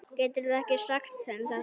Geturðu ekki sagt þeim þetta.